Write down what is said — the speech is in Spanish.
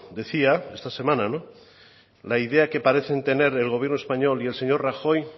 decía está semana la idea que parecen tener el gobierno español y el señor rajoy